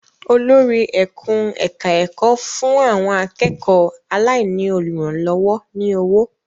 Olórí ẹkùn-ẹ̀ka-ẹ̀kọ́ fún àwọn akẹ́kọ̀ọ́ aláìní olùrànlọ́wọ́ ní owó.